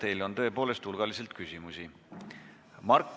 Teile on tõepoolest hulgaliselt küsimusi.